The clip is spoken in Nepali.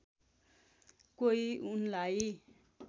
कोही उनलाई